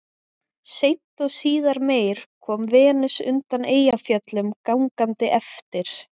Seint og síðar meir kom Venus undan Eyjafjöllum gangandi eftir